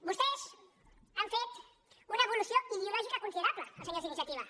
vostès han fet una evolució ideològica considerable els senyors d’iniciativa